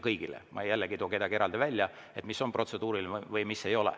Ma ei too kedagi eraldi välja, et mis on protseduuriline või mis ei ole.